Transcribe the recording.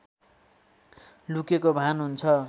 लुकेको भान हुन्छ